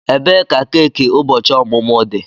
Ebee ka keki ụbọchị ọmụmụ dị?